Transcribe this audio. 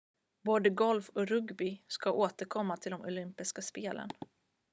både golf och rugby ska återkomma till de olympiska spelen